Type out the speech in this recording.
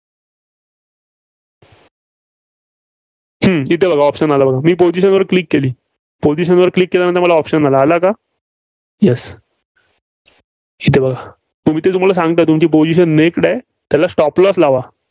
हं. इथं बघा option आलं बघा. मी position वर Click केली. position वर Click केल्यानंतर मला option आला, आला का? Yes हितं बघा. तुम्ही ते तुम्हाला सांगतं तुमची position naked आहे, त्याला stop loss लावा.